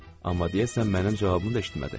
Amma deyəsən mənim cavabımı da eşitmədi.